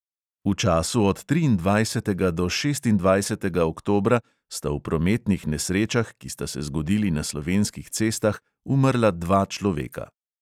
V času od triindvajsetega do šestindvajsetega oktobra sta v prometnih nesrečah, ki sta se zgodili na slovenskih cestah, umrla dva človeka.